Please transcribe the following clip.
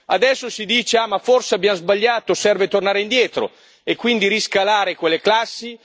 Adesso si dice che forse abbiamo sbagliato, che serve tornare indietro e quindi riscalare quelle classi.